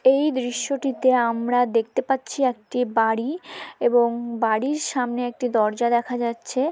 এই দৃশ্যটিতে আমরা দেখতে পাচ্ছি একটি বাড়ি এবং বাড়ির সামনে একটি দরজা দেখা যাচ্ছে।